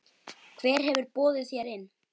Hver hefur boðið þér inn?